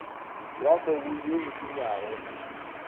wa mobu ye e senyago